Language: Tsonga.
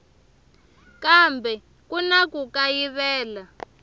kambe ku na ku kayivela